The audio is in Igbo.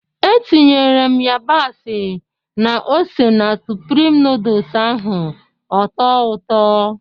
Etinyere m yabasị na ose na Sụprịm nooduls ahụ ọ tọọ ụtọ